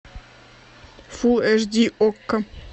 фулл эш ди окко